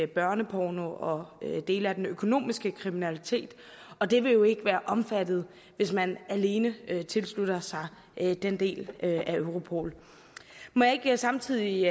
børneporno og dele af den økonomiske kriminalitet og det vil jo ikke være omfattet hvis man alene tilslutter sig den del af europol må jeg ikke samtidig